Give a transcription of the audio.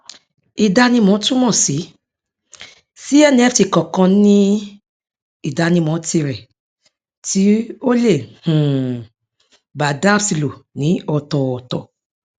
ìdánimọ túmọ sí sí nft kọọkan ní ìdánimọ tirẹ tí ó lè um bá dapps lò ní ọtọọtọ